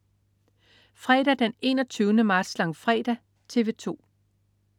Fredag den 21. marts. Langfredag - TV 2: